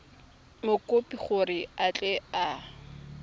mokopi gore a tle a